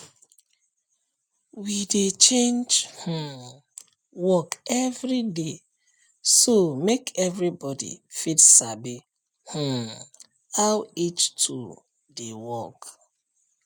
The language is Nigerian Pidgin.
we dey change um work every day so make everybody fit sabi um how each tool dey work